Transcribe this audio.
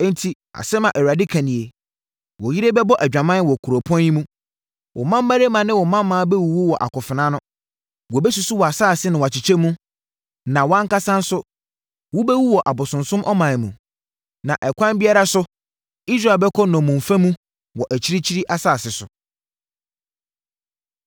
“Enti asɛm a Awurade ka nie: “ ‘Wo yere bɛbɔ adwaman wɔ kuropɔn yi mu, wo mmammarima ne wo mmammaa bɛwuwu wɔ akofena ano. Wɔbɛsusu wʼasase na wakyekyɛ mu, na wʼankasa nso, wobɛwu wɔ abosonsom ɔman mu, na ɛkwan biara so Israel bɛkɔ nnommumfa mu, wɔ akyirikyiri asase so.’ ”